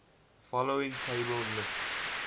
following table lists